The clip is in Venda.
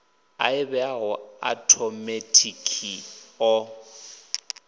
a ḓivheaho a othomethikhi o